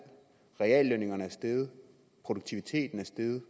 reallønnen er steget produktiviteten er steget